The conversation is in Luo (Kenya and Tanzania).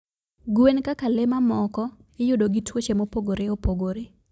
Gwen kaka le mamoko, iyudo gi tuoche mopogore opogore